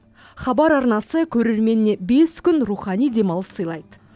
хабар арнасы көрерменіне бес күн рухани демалыс сыйлайды